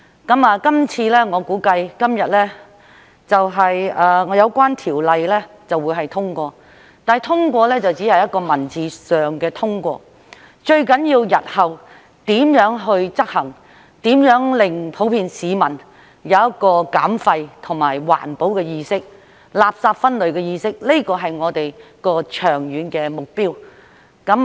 這次我估計今天有關條例會獲得通過，但通過只是文字上的通過，最重要的是日後如何執行，如何令普遍市民有減廢和環保的意識、垃圾分類的意識，這是我們的長遠目標。